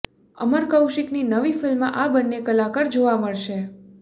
અમર કૌશિકની નવી ફિલ્મમાં આ બંને કલાકાર જોવા મળશે